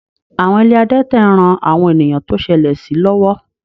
Àwọn ilé adẹ́tẹ̀ ń ran àwọn ènìyàn tó ṣẹlẹ̀ sí lọ́wọ́